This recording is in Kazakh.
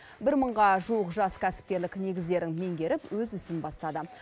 бір мыңға жуық жас кәсіпкерлік негіздерін меңгеріп өз ісін бастады